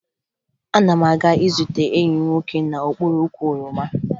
Ana m aga izute enyi m nwoke n'okpuru ukwu oroma